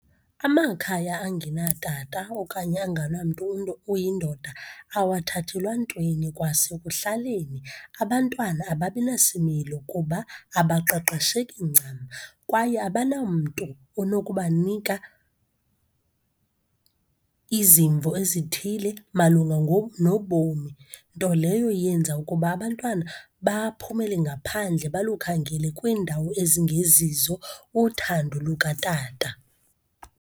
Amakhaya angenatata, okanye anganamntu oyindoda wathathelwa ntweni. Kwasekuhlaleni abantwana ababi nasimilo kuba abaqeqesheki ncam, kwaye abanamntu onokubanika izimvo ezithile malunga nobomi. Nto leyo yenza ukuba abantwana baphumele ngaphandle, balukhangele kwiindawo ezingezizo uthando lukatata.